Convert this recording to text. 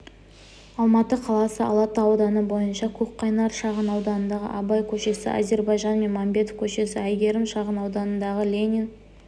алматы қаласы алатау ауданы бойынша көкқайнар шағынауданындағы абай көшесі әзірбайжан мәмбетов көшесі әйгерім шағынауданындағы ленин